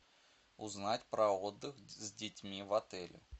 узнать про отдых с детьми в отеле